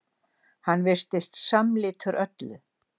Hann virtist samlitur öllu.